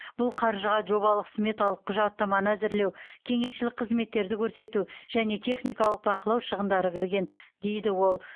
бұл қаржыға жобалық сметалық құжаттаманы әзірлеу кеңесшілік қызметтерді көрсету және техникалық бақылау шығындары кірген дейді ол